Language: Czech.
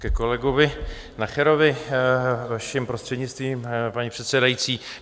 Ke kolegovi Nacherovi, vaším prostřednictvím, paní předsedající.